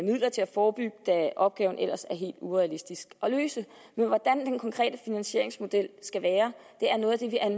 midler til at forebygge da opgaven ellers er helt urealistisk at løse men hvordan den konkrete finansieringsmodel skal være